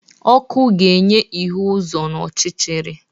Ọkụ ga-enye ihu uzo n'ọchịchịrị.